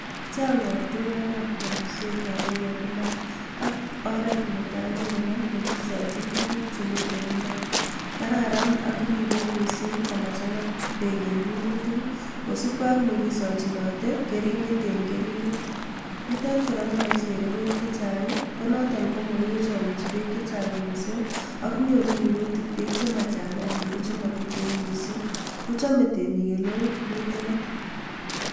Chang ortinwekab kobiset en imbar ak oret netaa konebo nekisochin tukuk chemiten imbar, kararan ak ribe mising komachanga beek en minutik kosipkee ak nekisochinote kering'et en kering'et, nitet kora moisere beek chechang ko noton komokisere beek chechang mising ak nyoru minutik beek chemachang ak chemotuten mising, kochome temiik eleoo nitet.